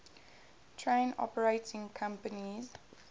train operating companies